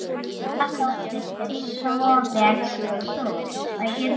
Það þótti þeim sovésku súrt.